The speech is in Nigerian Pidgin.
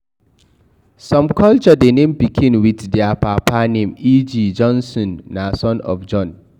Some culture de name pikin with their papa name eg. Jonsson na son of Jon